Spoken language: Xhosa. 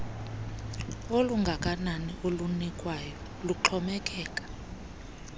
olungakanani olunikwayo luxhomekeka